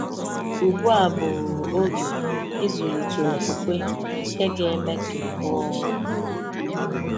Ugbu a bụ oge ịzụlite okwukwe nke ga-eme ka ị rụọ ọrụ.